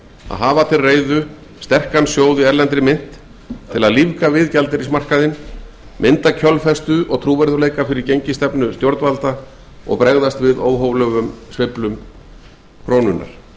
að hafa til reiðu stóran sjóð í erlendri mynt til að lífga við gjaldeyrismarkaðinn mynda kjölfestu og trúverðugleika fyrir gengisstefnu stjórnvalda og bregðast við óhóflegum sveiflum krónunnar